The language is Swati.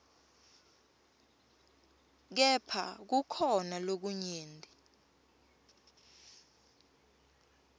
kepha kukhona lokunyenti